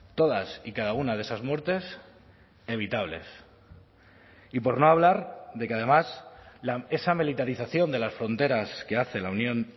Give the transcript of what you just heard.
todas y cada una de esas muertes evitables y por no hablar de que además esa militarización de las fronteras que hace la unión